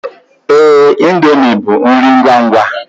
Ee, indomie bụ nri ngwangwa.